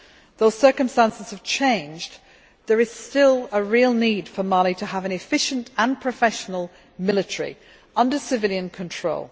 Though circumstances have changed, there is still a real need for Mali to have an efficient and professional military under civilian control.